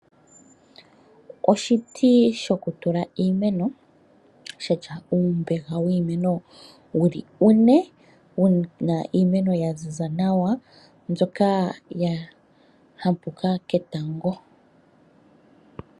Oshiti shoku tula iimeno, shatya uumbeha wiimeno wuli une, wuna iimeno ya ziza nawa, mbyoka ya hampuka ketango.